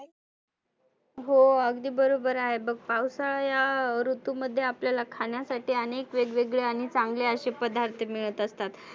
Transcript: हो अगदी बरोबर आहे बघ. पावसाळा या ऋतू मध्ये आपल्याला खान्यासाठी आनेक वेगवेगळे आणि चांगले असे पदार्थ मिळत असतात.